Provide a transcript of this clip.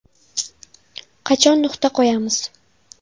Qachon nuqta qo‘yamiz?